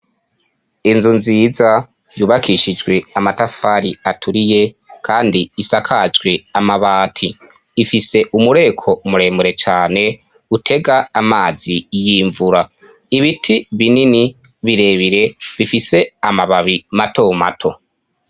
Inzu nziza yubakishijwe amatafari aturiye kandi isakajwe amabati. Ifise umureko umuremure cane utega amazi y'imvura ibiti binini birebire bifise amababi mato mato.